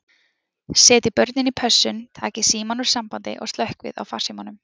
Setjið börnin í pössun, takið símann úr sambandi og slökkvið á farsímunum.